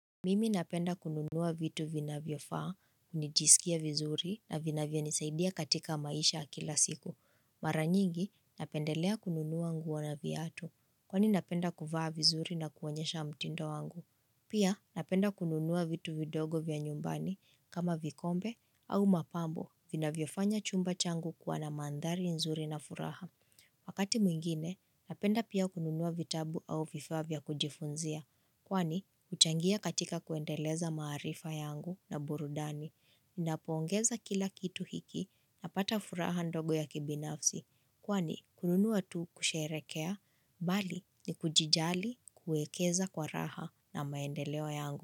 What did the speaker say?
Mimi napenda kununuwa vitu vinavyofaa, nijisikia vizuri na vinavyo nisaidia katika maisha ya kila siku. Mara nyingi napendelea kununuwa nguo na viatu, kwani napenda kuvaa vizuri na kuonyesha mtindo wangu. Pia napenda kununuwa vitu vidogo vya nyumbani kama vikombe au mapambo vinavyo fanya chumba changu kuwa na manthari nzuri na furaha. Wakati mwingine, napenda pia kununua vitabu au vifaa vya kujifunzia. Kwani, huchangia katika kuendeleza marifa yangu na burudani. Ninapo ongeza kila kitu hiki napata furaha ndogo ya kibinafsi. Kwani, kununua tu kusherekea, bali ni kujijali kuekeza kwa raha na maendeleo yangu.